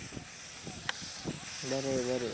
बरं आहे, बरं आहे.